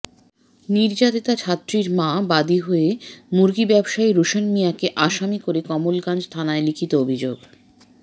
নির্যাতিতা ছাত্রীর মা বাদি হয়ে মুরগি ব্যবসায়ী রুশন মিয়াকে আসামি করে কমলগঞ্জ থানায় লিখিত অভিযোগ